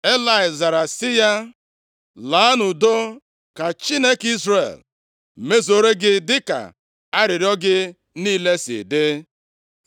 Elayị zara sị ya, “Laa nʼudo, ka Chineke Izrel mezuoro gị dịka arịrịọ gị niile si dị.”